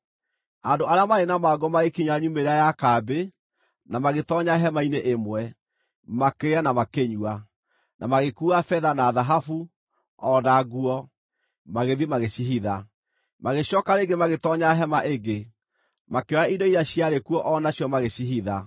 Andũ arĩa maarĩ na mangũ magĩkinya nyumĩrĩra ya kambĩ, na magĩtoonya hema-inĩ ĩmwe. Makĩrĩa na makĩnyua, na magĩkuua betha, na thahabu, o na nguo, magĩthiĩ magĩcihitha. Magĩcooka rĩngĩ magĩtoonya hema ĩngĩ, makĩoya indo iria ciarĩ kuo o nacio magĩcihitha.